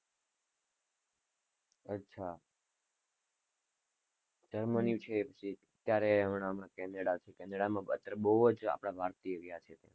અચ્છા, જર્મની છે એ ક્યારે, હમણાં કેનેડા છે, કેનેડામાં હમણાં બોવ જ આપણા ભારતીય ગયા છે.